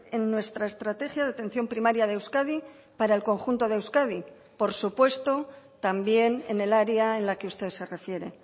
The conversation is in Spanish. en nuestra estrategia de atención primaria de euskadi para el conjunto de euskadi por supuesto también en el área en la que usted se refiere